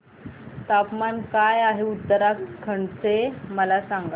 तापमान काय आहे उत्तराखंड चे मला सांगा